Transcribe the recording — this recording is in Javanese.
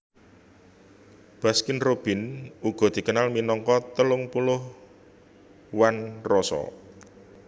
Baskin Robbins uga dikenal minangka telung puluh One Roso